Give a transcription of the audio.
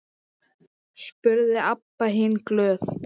spurði Abba hin glöð.